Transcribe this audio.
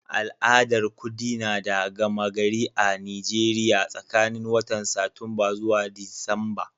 Al'adar kudi na da gama gari a'Nijeriya tsakanin watan Satumba zuwa Disamba.